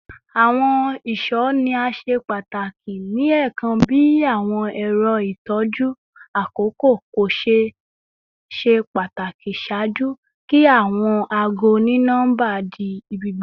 Awọn iṣọ ni a ṣe pataki ni ẹẹkan bi awọn ẹrọ itọju akoko ko ṣe pataki ṣaaju ki awọn aago oni-nọmba di ibigbogbo